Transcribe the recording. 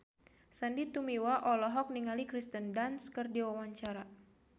Sandy Tumiwa olohok ningali Kirsten Dunst keur diwawancara